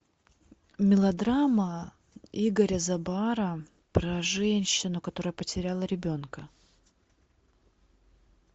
мелодрама игоря забара про женщину которая потеряла ребенка